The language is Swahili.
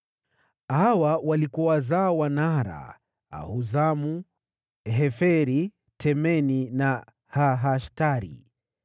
Hawa walikuwa wazao wa Naara: Ahuzamu, Heferi, Temeni na Haahashtari.